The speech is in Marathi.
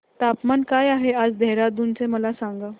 तापमान काय आहे आज देहराडून चे मला सांगा